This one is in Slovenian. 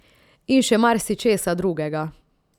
In še marsičesa drugega.